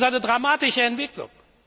Das ist eine dramatische Entwicklung!